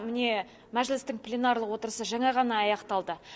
міне мәжілістің пленарлық отырысы жаңа ғана аяқталды